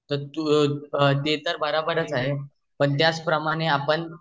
ते तर बराबरच आहे पण त्याच प्रमाण आपण